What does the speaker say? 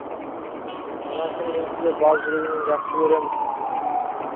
анашым мен сізді бар жүрегіммен жақсы көремін